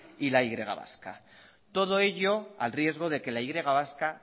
y la y vasca todo ello al riesgo de que la y vasca